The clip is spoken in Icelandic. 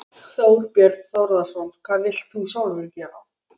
Þorbjörn Þórðarson: Hvað vilt þú sjálfur gera?